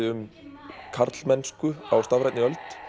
um karlmennsku á stafrænni öld